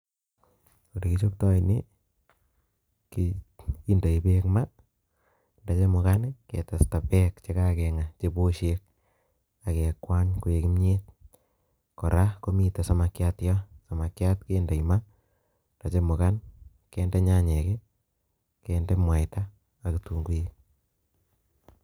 ole kichobto ni kiindo beek ma ak yechemugan ketesta beek che kagenga ak kekwany koek kimyet kora samakiat kiindo maat ak kiinde nyanyek ye kakochamugan ak kiinde kitunguik